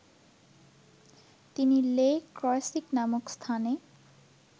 তিনি Le Creusot নামক স্থানে